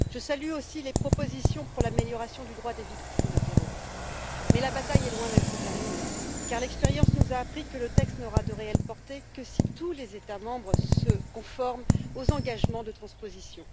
Je salue aussi les propositions pour l'amélioration des droits des victimes du terrorisme, mais la bataille est loin d'être terminée, car l'expérience nous a appris que le texte n'aura de réelle portée que si tous les États membres se conforment aux engagements de transposition.